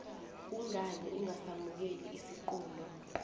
kungani ungasamukeli isiqunto